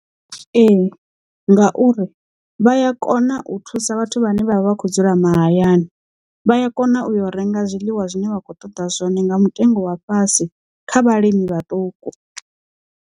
Ee ngauri vha ya kona u thusa vhathu vhane vha vha kho dzula mahayani, vha ya kona u yo renga zwiḽiwa zwine vha khou ṱoḓa zwone nga mutengo wa fhasi kha vhalimi vhaṱuku.